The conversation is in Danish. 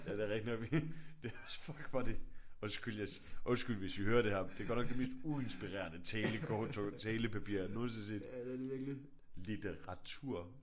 Ja det er rigtigt nok. Det er også fuck hvor er det undskyld hvis I hører det her. Det er godt nok det mest uinspirerende talekort talepapir jeg nogensinde har set. Litteratur